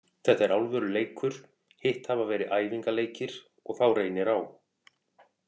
Þetta er alvöru leikur, hitt hafa verið æfingaleikir, og þá reynir á.